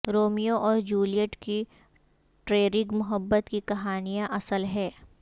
Romeo اور Juliet کی ٹرریگ محبت کی کہانیاں اصل ہیں